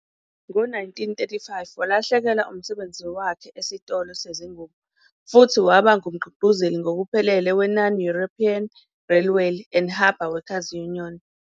Ngo-1935, walahlekelwa umsebenzi wakhe esitolo sezingubo futhi waba ngumgqugquzeli ngokuphelele we- Non-European Railway and Harbour Workers' Union